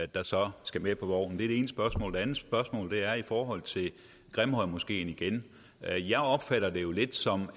der så skal med på vognen det er det ene spørgsmål det andet spørgsmål er igen i forhold til grimhøjmoskeen jeg opfatter det jo lidt som